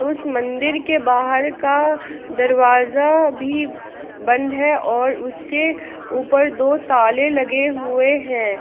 उस मंदिर के बाहर का दरवाजा भी बंद है और उसके ऊपर दो ताले लगे हुए हैं।